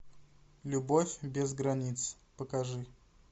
любовь без границ покажи